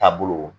Taabolo